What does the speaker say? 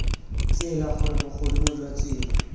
tsela gore bogodimo jwa tsela